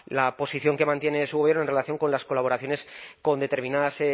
la posición que mantiene su gobierno en relación con las colaboraciones con determinadas